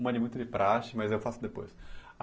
Uma é muito de praxe, mas eu faço depois.